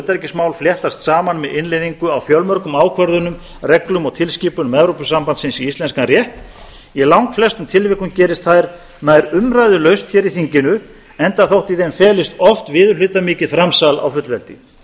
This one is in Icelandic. utanríkismál fléttast saman með innleiðingu á fjölmörgum ákvörðunum reglum og tilskipunum evrópusambandsins í íslenskan rétt í langflestum tilvikum gerist það nær umræðulaust hér í þinginu enda þótt í þeim felist oft viðurhlutamikið framsal á fullveldi